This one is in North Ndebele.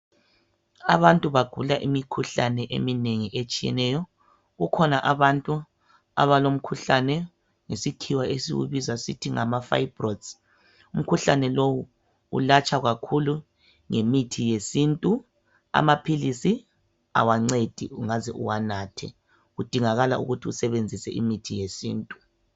Abantu bagula imikhuhlane eminengi etshiyeneyo. Kukhona abantu abalomkhuhlane ngesikhiwa esiwubiza sithi ngama fibroids. Umkhuhlane lowu ulatshwa kakhulu ngemithi yesintu, amaphilisi awancedi ungaze uwanathe, kudingakala ukuthi usebenzise imithi yesintu.